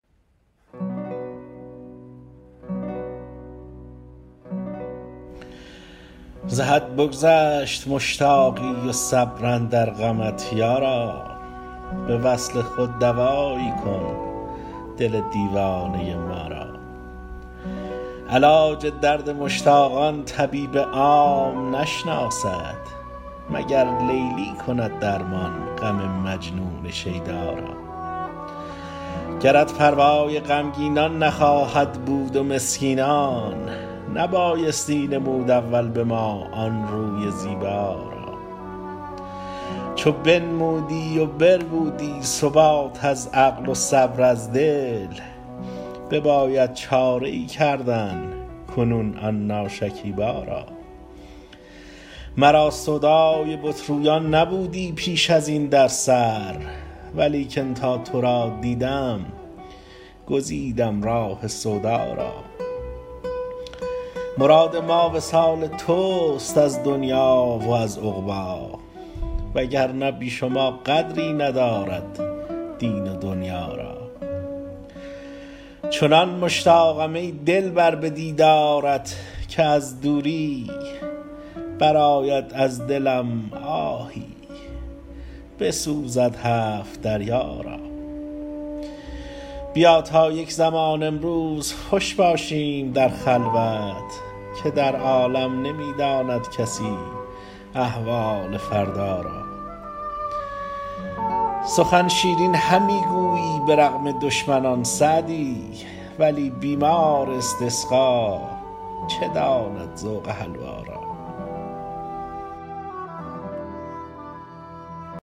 ز حد بگذشت مشتاقی و صبر اندر غمت یارا به وصل خود دوایی کن دل دیوانه ما را علاج درد مشتاقان طبیب عام نشناسد مگر لیلی کند درمان غم مجنون شیدا را گرت پروای غمگینان نخواهد بود و مسکینان نبایستی نمود اول به ما آن روی زیبا را چو بنمودی و بربودی ثبات از عقل و صبر از دل بباید چاره ای کردن کنون آن ناشکیبا را مرا سودای بت رویان نبودی پیش ازین در سر ولیکن تا تو را دیدم گزیدم راه سودا را مراد ما وصال تست از دنیا و از عقبی وگرنه بی شما قدری ندارد دین و دنیا را چنان مشتاقم ای دلبر به دیدارت که از دوری برآید از دلم آهی بسوزد هفت دریا را بیا تا یک زمان امروز خوش باشیم در خلوت که در عالم نمی داند کسی احوال فردا را سخن شیرین همی گویی به رغم دشمنان سعدی ولی بیمار استسقا چه داند ذوق حلوا را